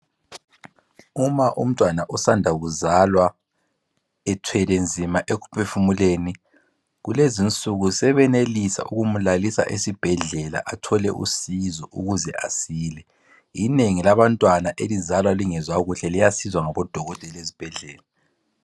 Uma umntwana osanda kuzalwa ethwele nzima ekuphefumuleni, kulezinsuku sebeyenelisa ukumlalisa esibhedlela, athole usizo ukuze asile. Inengi labantwana elizalwa lingezwakuhle liyasizwa ngabodokotela ezibhedlela.